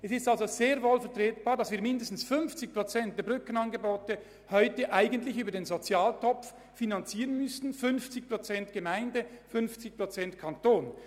Es ist also sehr wohl vertretbar, mindestens 50 Prozent der Brückenangebote über den Sozialtopf zu finanzieren und den Gemeinden die restlichen 50 Prozent zu überlassen.